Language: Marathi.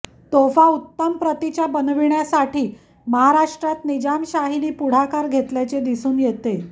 तोफा उत्तम प्रतिच्या बनविण्यासाठी महाराष्ट्रात निजामशाहीनी पुढाकार घेतल्याचे दिसून येते